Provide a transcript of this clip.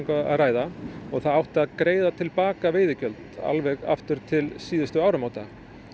að ræða og það átti að greiða til baka veiðigjöld alveg aftur til síðustu áramóta